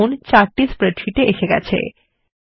দেখুন চার্ট স্প্রেডশীটে এসে হয়েছে